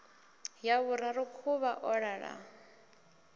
ya vhuraru khuvha o ḓala